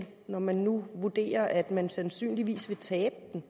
når man nu vurderer at man sandsynligvis vil tabe den